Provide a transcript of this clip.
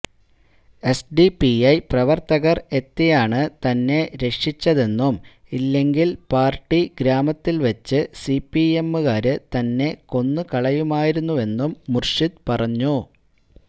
SDPI പ്രവര്ത്തകര് എത്തിയാണ് തന്നെ രക്ഷിച്ചതെന്നും ഇല്ലെങ്കില് പാര്ട്ടി ഗ്രാമത്തില് വച്ച് സിപിഎമ്മുകാര് തന്നെ കൊന്ന് കളയുമായിരുന്നെന്നും മുര്ഷിദ് പറഞ്ഞു